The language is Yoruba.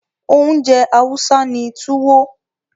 Oúnjẹ Hausa ni Tuwo.